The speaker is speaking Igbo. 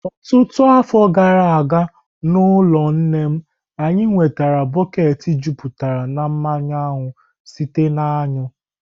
Ọtụtụ afọ gara aga, n'ụlọ nne m, anyị nwetara bọket jupụtara na mmanụ aṅụ sitere na aṅụ.